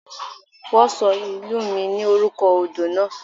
Wọ́n ṣọ ìlú mi ní orúkọ odò náà.